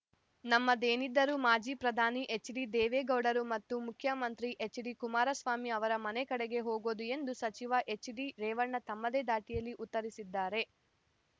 ನಮ್ಮದೇನಿದ್ದರೂ ಮಾಜಿ ಪ್ರಧಾನಿ ಎಚ್‌ಡಿದೇವೇಗೌಡರು ಮತ್ತು ಮುಖ್ಯಮಂತ್ರಿ ಎಚ್‌ಡಿಕುಮಾರಸ್ವಾಮಿ ಅವರ ಮನೆ ಕಡೆಗೆ ಹೋಗೋದು ಎಂದು ಸಚಿವ ಎಚ್‌ಡಿರೇವಣ್ಣ ತಮ್ಮದೇ ದಾಟಿಯಲ್ಲಿ ಉತ್ತರಿಸಿದ್ದಾರೆ